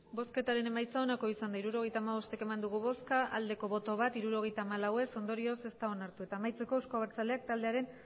hirurogeita hamabost eman dugu bozka bat bai hirurogeita hamalau ez ondorioz ez da onartu eta amaitzeko euzko abertzaleak taldearen